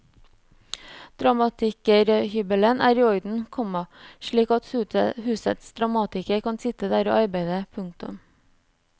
Dramatikerhybelen er i orden, komma slik at husets dramatiker kan sitte der og arbeide. punktum